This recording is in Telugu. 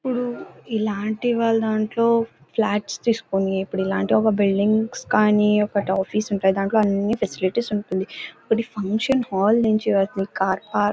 ఇప్పుడు ఇలాంటి వాళ్ళ దాంట్లో ఫ్లాట్స్ తీసుకుని ఇప్పుడు ఇలాంటి ఒక బిల్డింగ్ కానీ ఒక ఆఫీసు గానీ ఫెసిలిటీస్ ఉంటున్నాయ్. ఒకటి ఫంక్షన్ హాల్ నుంచి వాటిని కార్ పార్క్ --